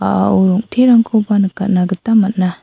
a·ao rong·terangkoba nikatna gita man·a.